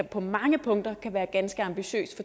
på mange punkter kan være ganske ambitiøs